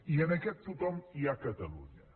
i en aquest tothom hi ha catalunya